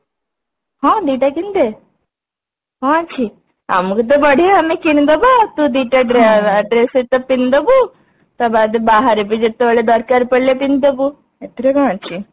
ହଁ ଦିଟା କିଣିଦେ କଣ ଅଛି ଆମକୁ ତ ବଢିଆ ଆମେ କିଣିଦବା ତୁ ଦିଟା dress dress ସହିତ ପିନ୍ଧିଦବୁ ତା ବାଦେ ବାହାରେ ବି ଯେତେବେଳେ ଦରକାର ପଡିଲେ ପିନ୍ଧି ଦବୁ ସେଥିରେ କଣ ଅଛି